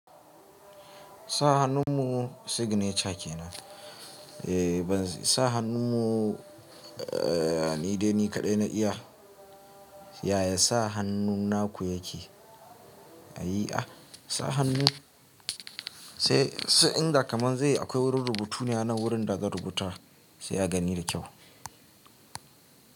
Sa hannu mu signature kenan. Eh ban sa hannu mu, ni dai ni kaɗai na iya yaya sa hannu naku yake. Ayi ah, sa hannu sai sai inda kaman zai yi akwai wurin rubutu ne hanan wurin da zan rubuta sai a gani da kyau.